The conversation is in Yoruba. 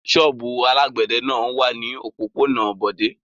Ṣọ́ọ́bù alágbẹ̀dẹ náà wà ní òpópónà Bọ̀dé.